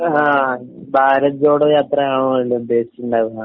ങാ...ഭാരത് ജോഡോ യാത്ര ആകുമല്ലേ ഉദ്ദേശിച്ചിട്ടുണ്ടാവുക?